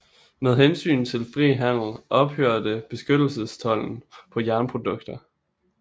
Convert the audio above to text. Med hensyn til frihandel ophørte beskyttelsestolden på jernprodukter